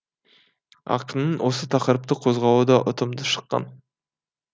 ақынның осы тақырыпты қозғауы да ұтымды шыққан